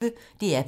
DR P1